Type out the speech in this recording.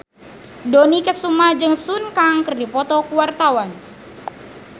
Dony Kesuma jeung Sun Kang keur dipoto ku wartawan